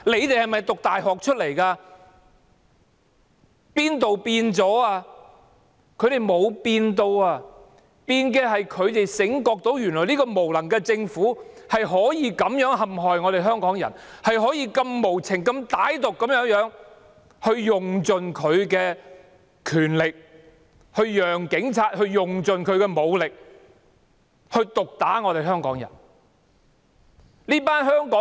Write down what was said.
他們沒有改變，唯一改變的是他們現在醒覺起來，發現這個無能的政府原來可以這樣栽害香港人，可以無情歹毒地有權用盡，讓警察用盡武力毒打香港人。